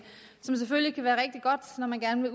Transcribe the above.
som selvfølgelig kan være rigtig godt når man gerne